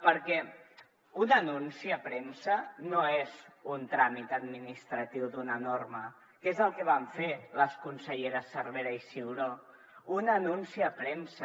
perquè un anunci a premsa no és un tràmit administratiu d’una norma que és el que van fer les conselleres cervera i ciuró un anunci a premsa